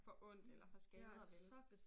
Får ondt eller får skader vel